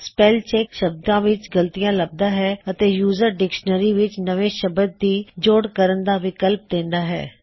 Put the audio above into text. spell check ਸ਼ਬਦਾਂ ਵਿੱਚ ਗਲਤੀਆਂ ਲੱਭਦਾ ਹੈ ਅਤੇ ਯੂਜ਼ਰ ਡਿਕ੍ਸ਼ਨਰੀ ਵਿੱਚ ਨਵੇਂ ਸ਼ਬਦ ਦੀ ਜੋੜ ਕਰਨ ਦਾ ਵਿਕਲਪ ਦੇਂਦਾ ਹੈ